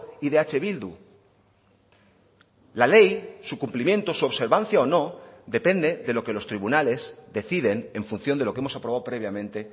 y de eh bildu la ley su cumplimiento su observancia o no depende de lo que los tribunales deciden en función de lo que hemos aprobado previamente